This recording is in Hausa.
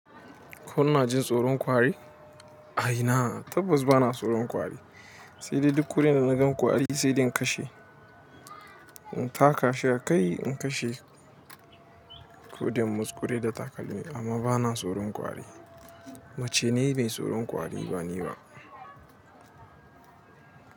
Kuna jin tsoron ƙwari? A ina? Tabbas bana tsoron ƙwari, sai dai duk kurin da naga ƙwari sai dai in kashe. In taka shi a kai in kashe, ko dai in muzzkure da takalmi amma bana tsoron ƙwari. Mace ne mai tsoron ƙwari ba ni ba.